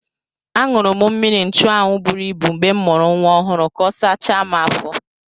Aṅụrụ m mmiri nchụanwụ buru ibu mgbe m mụrụ nwa ọhụrụ ka ọ sachaa m afọ.